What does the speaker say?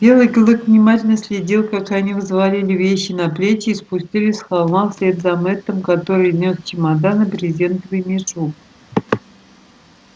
белый клык внимательно следил как они взвалили вещи на плечи и спустились с холма вслед за мэттом который нёс чемодан и брезентовый мешок